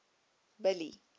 billy